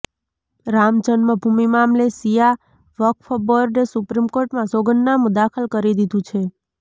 રામ જન્મભૂમિ મામલે શિયા વક્ફ બોર્ડે સુપ્રીમ કોર્ટમાં સોગંદનામું દાખલ કરી દીધું છે